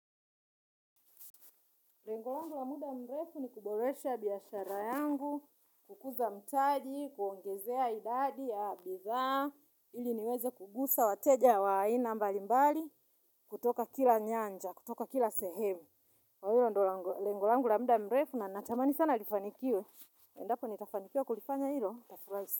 Lengo langu la muda mrefu ni kuboresha biashara yangu, kukuza mtaji, kuongezea idadi ya bidhaa, ili niweze kugusa, wateja wa aina mbali mbali, kutoka kila nyanja, kutoka kila sehemu. Na hiyo ndio lengo langu la muda mrefu na natamani sana lifanikiwe. Endapo nitafanikiwa kulifanya hilo. Nitafurahi.